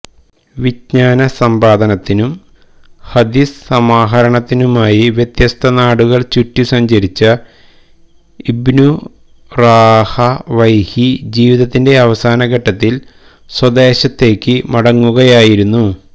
വിജ്ഞാന സമ്പാദനത്തിനും ഹദീസ് സമാഹരണത്തിനുമായി വ്യത്യസ്ത നാടുകള് ചുറ്റി സഞ്ചരിച്ച ഇബ്നു റാഹവൈഹി ജീവിതത്തിന്റെ അവസാന ഘട്ടത്തില് സ്വദേശത്തേക്ക് മടങ്ങുകയായിരുന്നു